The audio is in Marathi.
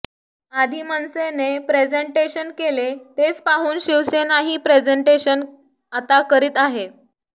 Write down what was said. आधी मनसेने प्रेझेंटेशन केले तेच पाहून शिवसेनाही प्रेझेंटेशन आता करीत आहे